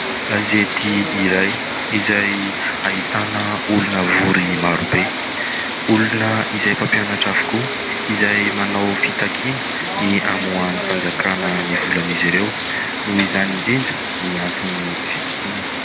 Gazety iray izay ahitana olona vory maro be. Olona izay mpampianatra avokoa izay manao fitakiana ny hamohan'ny fanjakana ny volan'izy ireo noho izany indrindra ny antony ny fitokonana.